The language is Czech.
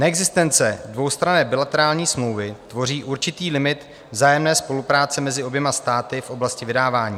Neexistence dvoustranné bilaterální smlouvy tvoří určitý limit vzájemné spolupráce mezi oběma státy v oblasti vydávání.